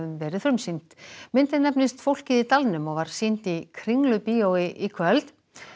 verið frumsýnd myndin nefnist fólkið í dalnum og var sýnd í Kringlubíói í kvöld